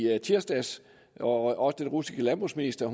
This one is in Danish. tirsdags og også den russiske landbrugsminister